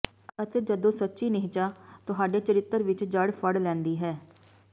ਅਤੇ ਜਦੋਂ ਸੱਚੀ ਨਿਹਚਾ ਤੁਹਾਡੇ ਚਰਿੱਤਰ ਵਿਚ ਜੜ੍ਹ ਫੜ ਲੈਂਦੀ ਹੈ